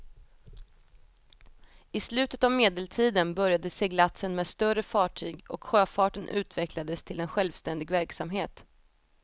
I slutet av medeltiden började seglatsen med större fartyg och sjöfarten utvecklades till en självständig verksamhet.